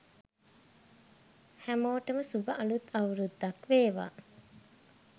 හැමෝටම සුභ අලුත් අවුරුද්දක් වේවා